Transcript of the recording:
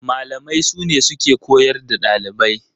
Malamai sune suke koyar da ɗalibai.